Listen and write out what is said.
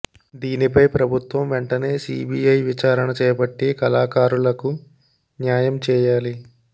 దీనిపై ప్రభుత్వం వెంటనే సిబిఐ విచారణ చేపట్టి కళాకారులకు న్యాయం చేయాలి